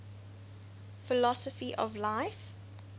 philosophy of life